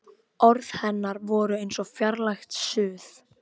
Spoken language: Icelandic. Það hefur aldrei verið mulið undir mig í lífinu.